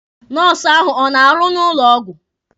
Nọọsụ ahụ ọ na-arụ n'ụlọ ọgwụ?